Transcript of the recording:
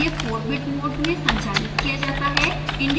यह 4bit mode में संचालित किया जाता है